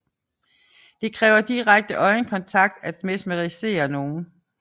Det kræver direkte øjenkontakt at mesmerisere nogen